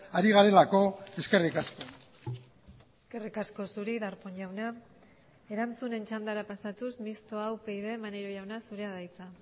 ari garelako eskerrik asko eskerrik asko zuri darpón jauna erantzunen txandara pasatuz mistoa upyd maneiro jauna zurea da hitza